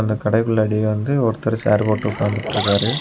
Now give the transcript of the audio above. அந்த கடைக்குள்ள டி வந்து ஒருத்தர சேர் போட்டு உக்காந்துட்டு இருக்காரு.